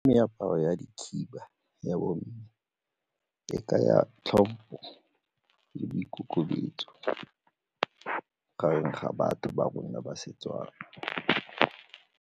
Meaparo ya dikhiba ya bomme e kaya tlhompho le boikokobetso gareng ga batho ba rona ba Setswana.